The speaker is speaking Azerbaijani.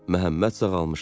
Məhəmməd sağalmışdı.